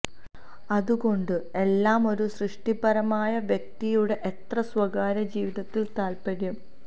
അതുകൊണ്ടു എല്ലാ ഒരു സൃഷ്ടിപരമായ വ്യക്തിയുടെ എത്ര സ്വകാര്യ ജീവിതത്തിൽ താല്പര്യം